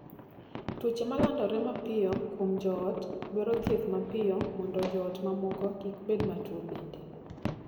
Tuoche ma landore mapiyo kuom joot dwaro thieth mapiyo mondo joot mamoko kik bed matuo bende.